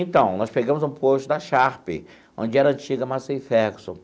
Então, nós pegamos um posto da Sharp, onde era a antiga Massey Ferguson.